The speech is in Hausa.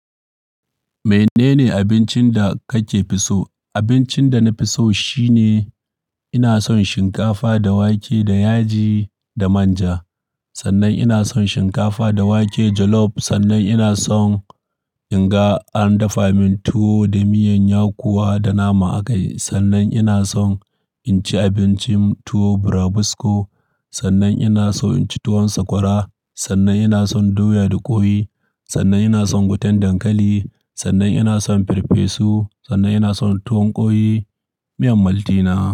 Menene abincinda kake fiso. Abincin da na fi so shine ina son shinkafa da wake da yaji da manja. Sannan ina son shinkafa da wake jollof. Sannan ina son in ga an dafa min tuwo da miyan yakuwa da nama a kai. Sannan ina san inci abincin tuwo burabusko. Sannan ina so in ci tuwon sakwara. Sannan ina son doya da ƙoyi. Sannan ina son gutan dankali. Sannan ina son farfesu. Sannan ina son tuwon ƙoyi. Miyan maltina.